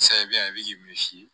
Sayi me si